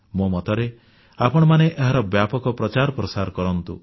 ମୋ ମତରେ ଆପଣମାନେ ଏହାର ବ୍ୟାପକ ପ୍ରଚାରପ୍ରସାର କରନ୍ତୁ